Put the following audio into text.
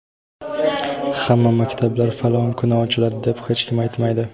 hamma maktablar falon kuni ochiladi deb hech kim aytmaydi!.